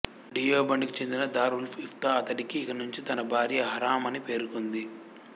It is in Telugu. డియోబండ్ కి చెందిన దార్ఉల్ఇఫ్తా అతడికి ఇక నుంచీ తన భార్య హరామ్ అని పేర్కొంది